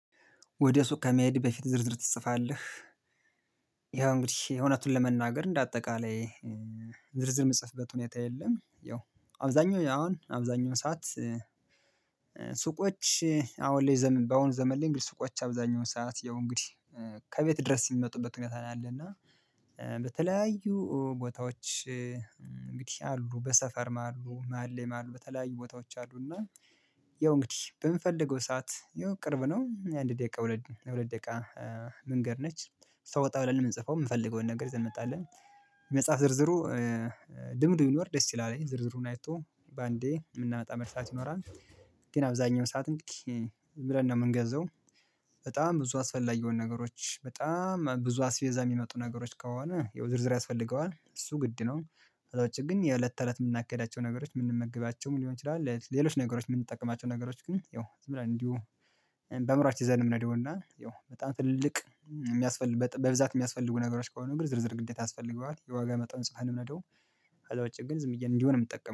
ወደ ሱቅ ከመሄድህ በፊት ዝርዝር ትጽፋለህ? ያው እንግዲህ እውነቱን ለመናገር እንደ አጠቃላይ ዝርዝር የምጽፍበት ሁኔታ የለም። ያው አብዛኛው አሁን አብዛኛው ሰዓት ሱቆች አሁን ላይ በአሁኑ ዘመን ላይ እንግዲህ ሱቆች አብዛኛውን ሰዓት ያው እንግዲህ ከቤት ድረስ እሚመጡበት ሁኔታ ነው ያለ። እና በተለያዩ ቦታዎች እንግዲህ አሉ በሰፈርም አሉ መሃል ላይም አሉ በተለያዩ ቦታዎች አሉ እና ያው እንግዲህ በምፈልገው ሰዓት ያው ቅርብ ነው አንድ ደቂቃ ሁለት ደቂቃ መንገድ ነች ሶ ወጣ ብለን እምንጽፈው እምፈልገውን ነገር ይዘን እንመጣለን። መጽሐፍ ዝርዝሩ ልምድ ቢኖር ደስ ይላል ዝርዝሩን አይቶ በአንዴ የምናመጣ መርሳት ይኖራል። ግን አብዛኛው ሰዓት እንግዲህ ዝምብለን ነው የምንገዛው በጣም ብዙ አስፈላጊ የሆኑ ነገሮች በጣም ብዙ አስቤዛ የሚመጡ ነገሮች ከሆነ ያው ዝርዝር ያስፈልገዋል እሱ ግድ ነው። ከዛ ውጪ ግን የእለት ከእለት የምናካሂዳቸው ነገሮች የምንመግባቸውም ሊሆን ይችላል ሌሎች ነገሮች የምንጠቀማቸው ነገሮች ግን ያው ዝም ብለን እንዲሁ በአዕምሯችን ይዘን እምንሄደውና ያው በጣም ትልልቅ እሚያስፈልግ በብዛት የሚያስፈልጉ ነገሮች ከሆኑ ግን ዝርዝር ግዴታ ያስፈልገዋል የዋጋ መጠን ጽፈን ነው። ከዛ ውጭ ግን ዝምብየ እንዲሁ ነው እምጠቀመው